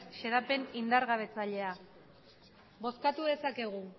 xedapen indargabetzailea bozkatu dezakegu